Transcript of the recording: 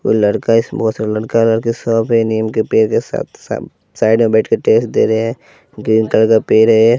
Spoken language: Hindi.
कोई लड़का इस बहोत सारे लड़का लड़की सब ये नीम के पेड़ सा सा साइड में बैठकर टेस्ट दे रहे ग्रीन कलर का पेड़ है।